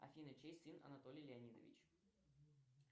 афина чей сын анатолий леонидович